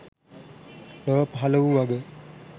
ලොව පහළ වූ වග